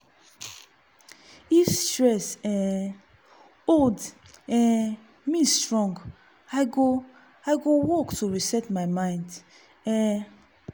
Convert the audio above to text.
if stress um hold um me strong i go i go walk to reset mind. um